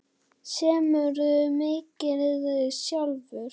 Semurðu mikið sjálfur?